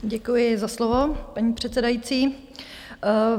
Děkuji za slovo, paní předsedající.